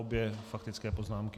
Obě faktické poznámky.